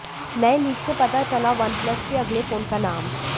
नए लीक से पता चला वनप्लस के अगले फोन का नाम